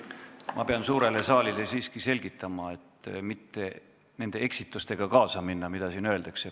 Ma pean suurele saalile siiski asja selgitama, et ei mindaks kaasa nende eksitustega, mis siin juhtunud on.